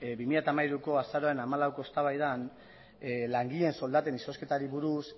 bi mila hamairuko azaroaren hamalaueko eztabaidan langileen soldaten izozketari buruz